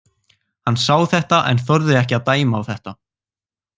Hann sá þetta en þorði ekki að dæma á þetta.